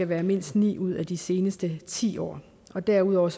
være mindst ni ud af de seneste ti år år derudover